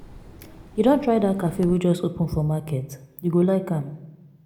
you don try dat cafe wey just open for market? you go like am.